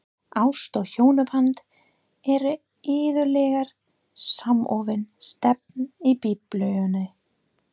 Ást og hjónaband eru iðulega samofin stef í Biblíunni.